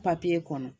kɔnɔ